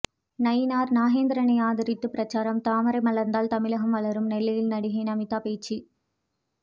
நயினார் நாகேந்திரனை ஆதரித்து பிரசாரம் தாமரை மலர்ந்தால் தமிழகம் வளரும் நெல்லையில் நடிகை நமீதா பேச்சு